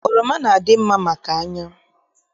Oroma na- adị mma maka anya